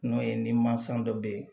N'o ye ni mansa dɔ bɛ yen